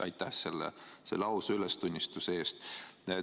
Aitäh selle ausa ülestunnistuse eest!